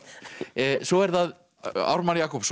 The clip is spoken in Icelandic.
svo er það Ármann Jakobsson